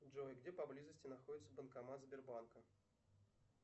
джой где поблизости находится банкомат сбербанка